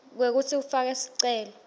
kwekutsi ufake sicelo